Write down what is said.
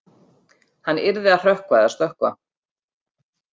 Hann yrði að hrökkva eða stökkva.